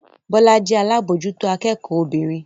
Bọ́lá jẹ́ alábòójútó akẹ́kọ̀ọ́ obìnrin